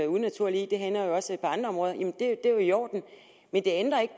unaturligt i det hænder også på andre områder og det er jo i orden men det ændrer ikke